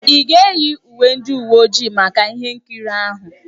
Ị ga-eyi uwe ndị uwe ojii maka ihe nkiri ahụ?